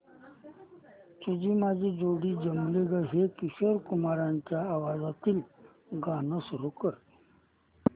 तुझी माझी जोडी जमली गं हे किशोर कुमारांच्या आवाजातील गाणं सुरू कर